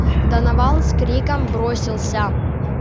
донован с криком бросился